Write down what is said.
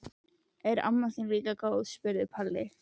Er amma líka góð? spurði Palla.